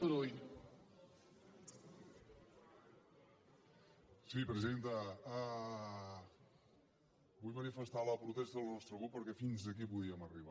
sí presidenta vull manifestar la protesta del nostre grup perquè fins aquí podíem arribar